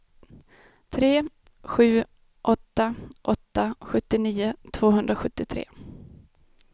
tre sju åtta åtta sjuttionio tvåhundrasjuttiotre